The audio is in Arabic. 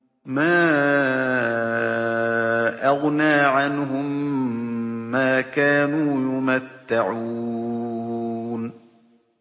مَا أَغْنَىٰ عَنْهُم مَّا كَانُوا يُمَتَّعُونَ